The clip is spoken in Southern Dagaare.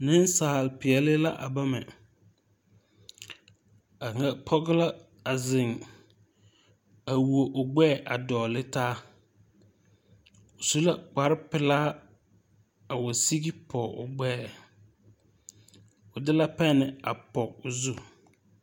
Neŋsalpeɛle la a bama kaŋa pɔge la a zeŋ a wuo o gbɛɛ a dɔgle taa o su la kparepelaa ko sige pɔge o gbɛɛ o de la pɛne a pɔg o zu.